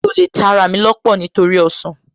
Mi ò lè ta ará mi lọ́pọ̀ nítorí ọsàn